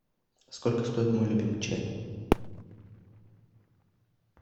сколько стоит мой любимый чай